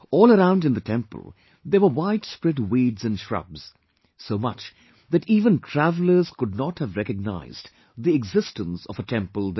All around in the temple there were widespread weeds and shrubs...so much that even travelers could not have recognized the existence of a temple there